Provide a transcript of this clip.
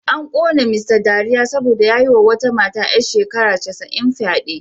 An kona Mr dariya saboda ya yi wa wata mata ‘yar shekara casa’in fyade